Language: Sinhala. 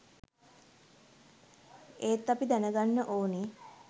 ඒත් අපි දැන ගන්න ඕනේ